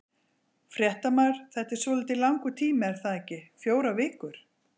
Fréttamaður: Þetta er svolítið langur tími er það ekki, fjórar vikur?